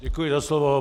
Děkuji za slovo.